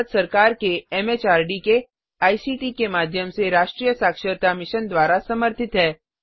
यह भारत सरकार के एमएचआरडी के आईसीटी के माध्यम से राष्ट्रीय साक्षरता मिशन द्वारा समर्थित है